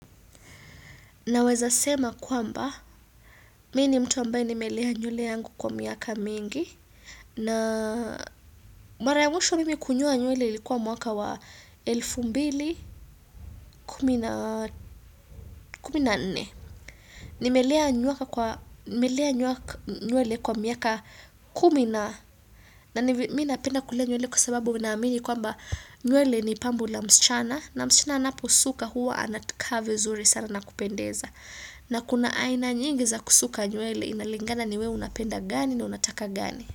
Naweza sema kwamba, mii ni mtu ambaye nimelea nywele yangu kwa miaka mingi. Na mara ya mwisho mimi kunyoa nywele likuwa mwaka wa elfu mbili kumi na kumi na nne. Nimelea nyule kwa miaka kumina. Mi napenda kulea nywele kwa sababu naamini kwamba nywele ni pambo la msichana. Na msichana anaposuka huwa anakaa zuri sana nakupendeza. Na kuna aina nyingi za kusuka nywele inalingana ni wewe unapenda gani ni unataka gani.